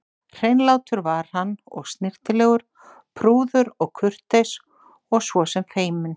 Hreinlátur var hann og snyrtilegur, prúður og kurteis og svo sem feiminn.